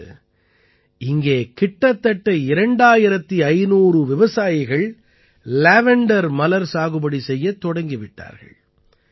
இன்று இங்கே கிட்டத்தட்ட 2500 விவசாயிகள் லேவண்டர் மலர் சாகுபடி செய்யத் தொடங்கி விட்டார்கள்